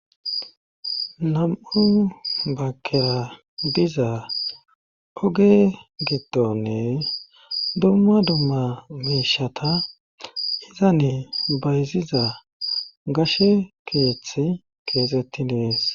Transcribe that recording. Nam'u baggera diza oge gitdooni dumma dumma miishata iza nee bayziza gashe keeththa keexettidi dees